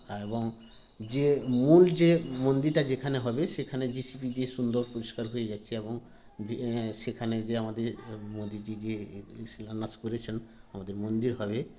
এ এবং যে মূল যে মন্দিরটা যেখানে হবে সেখানে যে সিঁড়ি দিয়ে সুন্দর পরিস্কার হয়ে যাচ্ছে এবং সেখানে যে আমাদের মোদীজি যে শিলান্যাস করেছেন আমাদের মন্দির হবে